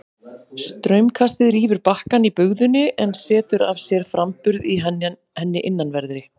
Straumkastið rýfur bakkann í bugðunni en setur af sér framburð í henni innanverðri.